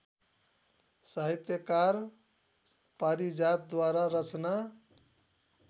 साहित्यकार पारिजातद्वारा रचना